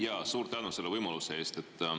Jaa, suur tänu selle võimaluse eest!